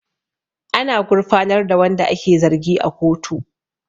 Ana gurfanar da wanda ake zargi a kotu